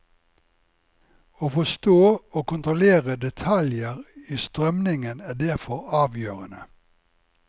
Å forstå og kontrollere detaljer i strømningen er derfor avgjørende.